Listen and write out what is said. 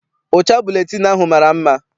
Ụcha buletịịnụ ahụ mara mma.